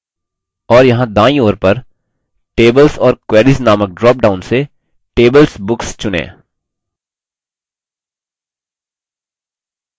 और यहाँ दायीं ओर पर tables or queries नामक drop down से tablesbooks चुनें